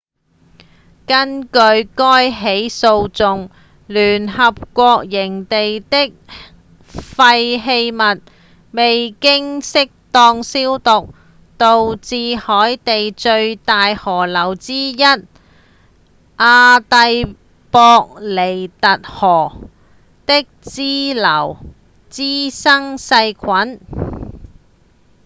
根據該起訴訟聯合國營地的廢棄物未經適當消毒導致海地最大河流之一阿蒂博尼特河的支流滋生細菌